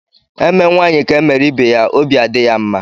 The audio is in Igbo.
Emee nwanyi ka e mere ibe ya óbị adị ya mma.